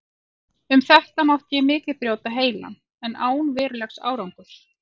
Um þetta mátti ég mikið brjóta heilann, en án verulegs árangurs.